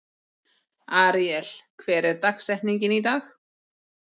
Aríel, hver er dagsetningin í dag?